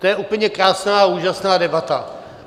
To je úplně krásná a úžasná debata.